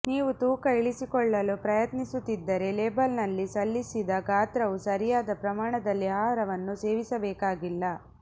ನೀವು ತೂಕ ಇಳಿಸಿಕೊಳ್ಳಲು ಪ್ರಯತ್ನಿಸುತ್ತಿದ್ದರೆ ಲೇಬಲ್ನಲ್ಲಿ ಸಲ್ಲಿಸಿದ ಗಾತ್ರವು ಸರಿಯಾದ ಪ್ರಮಾಣದಲ್ಲಿ ಆಹಾರವನ್ನು ಸೇವಿಸಬೇಕಾಗಿಲ್ಲ